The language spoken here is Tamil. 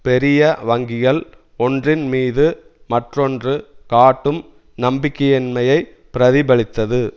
பெரிய வங்கிகள் ஒன்றின் மீது மற்றொன்று காட்டும் நம்பிக்கையின்மையை பிரதிபலித்தது